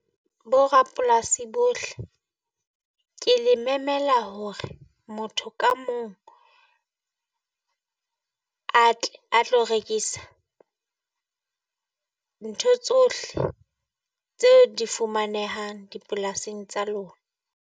Bo rapolasi bohle ke le memela hore motho ka mong a tle a tlo rekisa ntho tsohle tse di fumanehang dipolasing tsa lona.